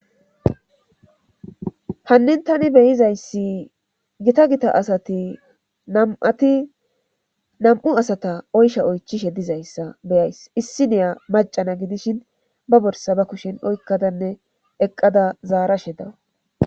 Hannin tani beyizayssi gita gita asati nam'ati nam7"u asata oysha oychishe dizayssa beyays. issi niya macana gidishin ba borsa ba kushen oykkadanne eqqada zaarashe dawus.